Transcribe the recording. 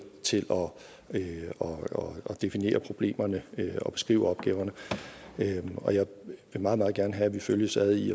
til at definere problemerne og beskrive opgaverne og jeg vil meget meget gerne have at vi følges ad i